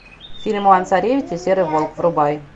фильм иван царевич и серый волк врубай